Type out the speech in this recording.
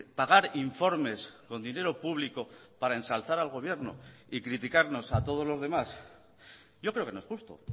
pagar informes con dinero público para ensalzar al gobierno y criticarnos a todos los demás yo creo que no es justo